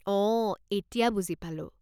অঁ, এতিয়া বুজি পালোঁ।